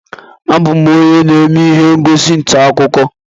Abụ m onye na-eme ihe ngosi ntaakụkọ